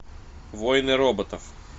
войны роботов